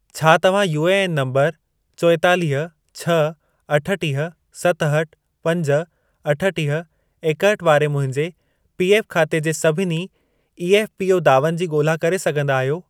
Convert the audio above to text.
छा तव्हां UAN number चोएतालीह, छह, अठुटीह, सतहठि, पंज, अठुटीह, एकहठि वारे मुंहिंजे पीएफ खाते जे सभिनी ईएफ़पीओ दावनि जी ॻोल्हा करे सघंदा आहियो?